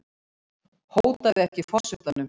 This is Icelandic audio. Hótaði ekki forsetanum